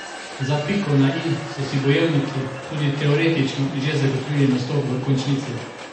Za piko na i so si bojevniki tudi teoretično že zagotovili nastop v končnici.